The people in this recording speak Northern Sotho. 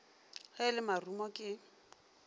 ge e le marumo ke